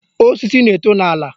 Osisi na-eto n'ala.